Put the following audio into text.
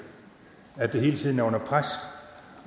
at det hele tiden er under pres